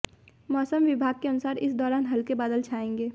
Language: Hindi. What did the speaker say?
मौसम विभाग के अनुसार इस दौरान हल्के बादल छाएंगे